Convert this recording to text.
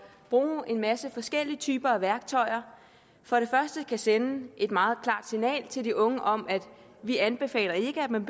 bruge en masse forskellige typer af værktøjer for det første kan sende et meget klart signal til de unge om at vi anbefaler at man